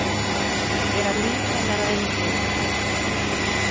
Gera líf hennar að engu.